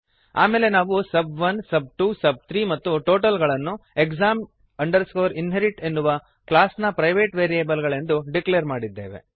ಆಮೇಲೆ ನಾವು ಸಬ್1 ಸಬ್2 ಸಬ್3 ಮತ್ತು ಟೋಟಲ್ ಗಳನ್ನು exam inherit ಎನ್ನುವ ಕ್ಲಾಸ್ ನ ಪ್ರೈವೇಟ್ ವೇರಿಯಬಲ್ ಗಳೆಂದು ಡಿಕ್ಲೇರ್ ಮಾಡಿದ್ದೇವೆ